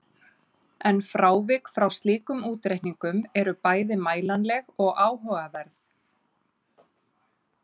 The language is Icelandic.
En frávik frá slíkum útreikningum eru bæði mælanleg og áhugaverð.